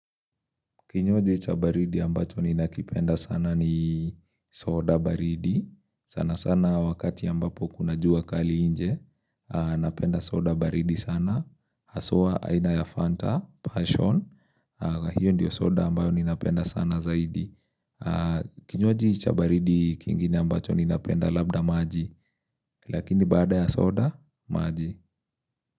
Kinywaji chabaridi ambacho ninakipenda sana ni soda baridi. Sana sana wakati ambapo kunajua kali inje. Napenda soda baridi sana. Hasua aina ya Fanta, Passion. Hiyo ndiyo soda ambayo ni napenda sana zaidi. Kinywaji chabaridi kingine ambacho ni napenda labda maji. Lakini baada ya soda, maji.